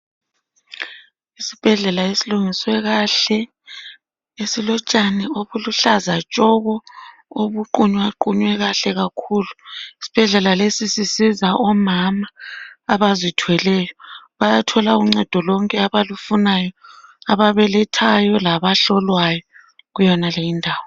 Isibhedlela esilungiswe kahle. Esilotshani obuluhlaza tshoko obuqunywaqunywe kahle kakhulu. Isibhedlela lesi sisiza omama abazithweleyo, bayathola uncedo lonke abalufunayo. Ababelethayo labahlolwayo kuyonaleyi indawo.